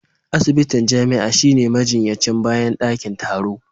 Asibitin jami'a shine majinyacin bayan dakin taro